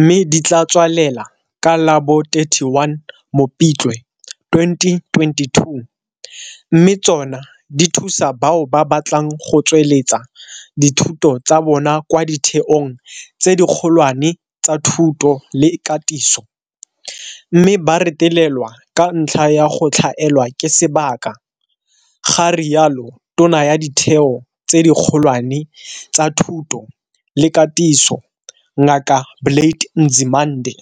mme di tla tswalela ka la bo 31 Mopitlwe 2022 mme tsona di thusa bao ba batlang go tsweletsa dithuto tsa bona kwa ditheong tse dikgolwane tsa thuto le katiso mme ba retelelwa ka ntlha ya go tlhaelwa ke sebaka, ga rialo Tona ya Ditheo tse Dikgolwane tsa Thuto le Katiso Ngaka Blade Nzimande.